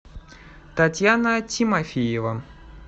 татьяна тимофеева